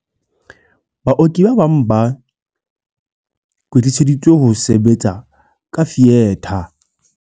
"Baoki ba bang ba kwetliseditswe ho sebetsa ka fietha."